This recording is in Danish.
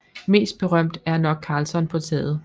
Mest berømt er nok Karlsson på taget